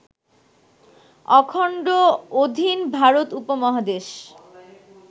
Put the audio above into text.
অখণ্ড অধীন ভারত উপমহাদেশ